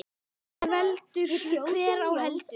En veldur hver á heldur.